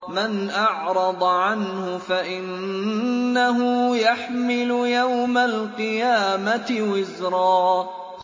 مَّنْ أَعْرَضَ عَنْهُ فَإِنَّهُ يَحْمِلُ يَوْمَ الْقِيَامَةِ وِزْرًا